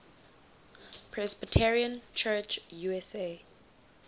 presbyterian church usa